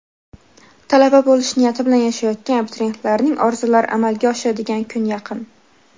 talaba bo‘lish niyati bilan yashayotgan abituriyentlarning orzulari amalga oshadigan kun yaqin.